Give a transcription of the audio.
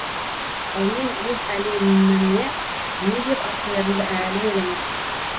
ал мен өз әлеміме не деп ат қоярымды әлі ойламаппын